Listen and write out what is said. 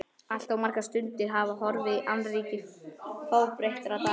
Allt of margar stundir hafa horfið í annríki fábreyttra daga.